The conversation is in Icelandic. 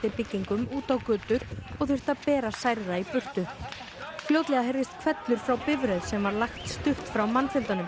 byggingum út á götur og þurfti að bera særða í burtu fljótlega heyrðist hvellur frá bifreið sem var lagt stutt frá mannfjöldanum